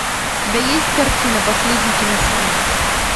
у тебя есть картина последний киносеанс